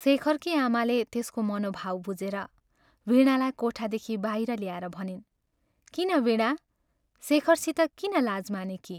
शेखरकी आमाले त्यसको मनोभाव बुझेर, वीणालाई कोठादेखि बाहिर ल्याएर भनिन्, " किन वीणा शेखरसित किन लाज मानेकी?